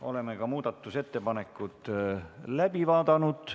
Oleme ka muudatusettepanekud läbi vaadanud.